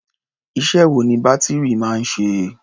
Iṣẹ́ wo ni bátìrì máa ń ṣe?